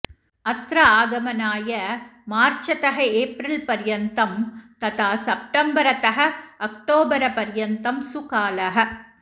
अत्र आगमनाय मार्चतः एप्रिल् पर्यन्तं तथा सप्टम्बरतः अक्टोबरपर्यन्तं सुकालः